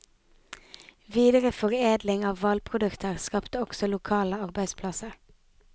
Videreforedling av hvalprodukter skapte også lokale arbeidsplasser.